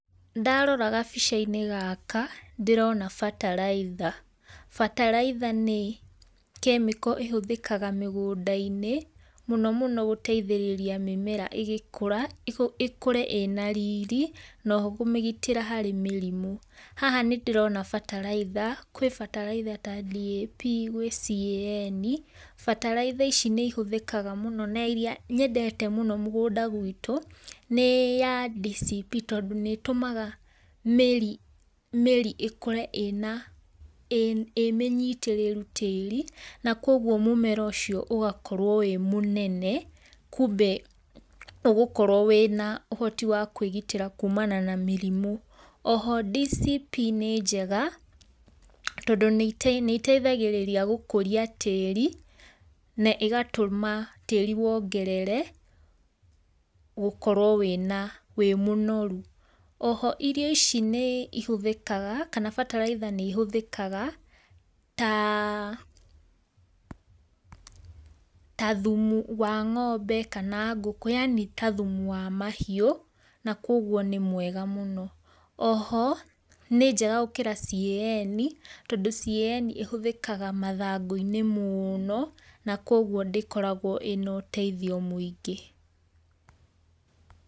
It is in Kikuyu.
Ndarora gabica inĩ gaka ndĩrona batalaitha batalaĩtha nĩ [chemical] ĩhũthĩkaga mĩgũnda inĩ mũno mũno gũteithĩrĩria mĩmera ĩgĩkũra ĩkũre ĩna riri na oho kũmĩgĩtĩra harĩ mĩrimũ. Haha nĩ ndĩrona batalaĩtha kwĩ batalaĩtha ta DAP gwĩ CAN batalaitha ici nĩ ihũthĩkaga mũno na iria nyendete mũgũnda gwĩto, nĩ ya DCP tondũ nĩ ĩtumaga mĩri mĩri ĩkore ĩna ĩmĩnyitararu tarĩ na kuogwo mũmera ũcĩo ũgakorwo wĩ mũnene, kũmbe ũgũkorwo wĩ na ũhotĩ wa kwĩgĩtĩra kũmana na mĩrimũ. Oho DCP nĩ jega tondũ nĩ iteĩthagĩriria gũkũria tarĩ na ĩgatũma tarĩ wogerere gũkorwo wĩ na wĩ mũnoru. Oho irio icĩ nĩ ihũthĩkaga kana batalaitha nĩ ihũthĩkaga [ta] ta thũmũ wa ngombe kana ngũkũ yanĩ ta thũmũ wa mahiu na kũogwo nĩ mwega mũno. Oho nĩ jega gũkĩra CAN tondũ CAN ĩhũthĩkaga mathangũ inĩ mũno na kũogwo dĩkoragwo ĩna ũteĩthĩo mũingĩ.